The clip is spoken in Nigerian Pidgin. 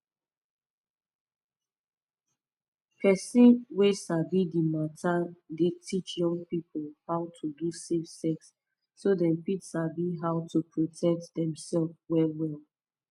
person wey sabi the matter dey teach young people how to do safe sex so dem fit sabi how to protect dem sef well well